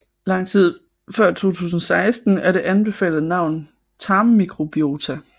Langt tid før 2016 er det anbefalede navn tarmmikrobiota